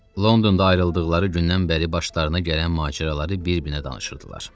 Londonda ayrıldıqları gündən bəri başlarına gələn macəraları bir-birinə danışırdılar.